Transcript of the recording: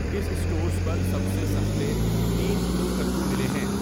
کس اسٹورز پر سب سے سستے تین کلو کدو ملے ہیں